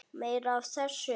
Meira af þessu!